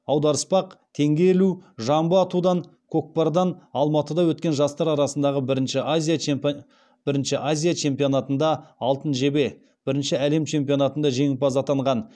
аударыспақ теңге ілу жамбы атудан көкпардан алматыда өткен жастар арасындағы бірінші азия чемпионатында алтын жебе бірініші әлем чемпионатында жеңімпаз атанған